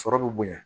Sɔrɔ bɛ bonya